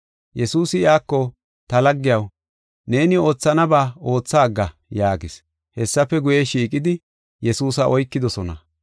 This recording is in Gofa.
Yesuusi iyako, “Ta laggiyaw, neeni oothanaba ootha agga” yaagis. Hessafe guye, shiiqidi, Yesuusa oykidosona.